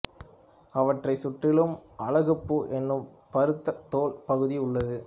அவற்றைச் சுற்றிலும் அலகுப்பூ எனும் பருத்த தோல் பகுதி உள்ளது